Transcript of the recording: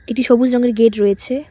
এটি সবুজ রঙের গেট রয়েছে।